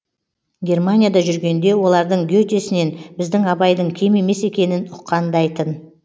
германияда жүргенде олардың гетесінен біздің абайдың кем емес екенін ұққандай тын